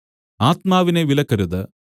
ആത്മാവിനെ വിലക്കരുത്